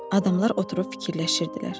Adamlar oturub fikirləşirdilər.